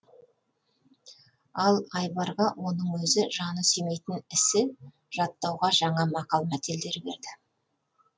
ал айбарға оның өзі жаны сүймейтін ісі жаттауға жаңа мақал мәтелдер берді